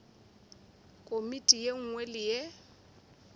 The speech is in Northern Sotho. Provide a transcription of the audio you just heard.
komiti ye nngwe le ye